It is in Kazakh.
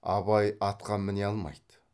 абай атқа міне алмайды